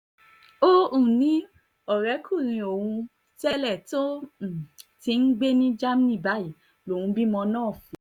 ó um ní ọ̀rẹ́kùnrin òun tẹ́lẹ̀ tó um ti ń gbé ní germany báyìí lòun bímọ náà fún un